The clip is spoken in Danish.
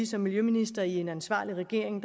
som miljøminister i en ansvarlig regering